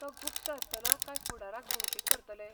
तो गुप्त आसतलो काय फुडाराक भौशीक करतले?